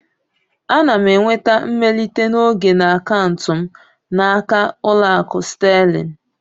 Ana m enweta mmelite n'oge na akaụntụ m n'aka Ụlọakụ Sterling